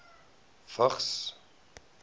vigs